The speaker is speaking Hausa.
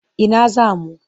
Ina za mu?